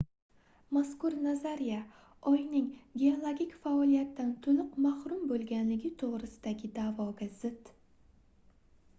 mazkur nazariya oyning geologik faoliyatdan toʻliq mahrum boʻlganligi toʻgʻrisidagi daʼvoga zid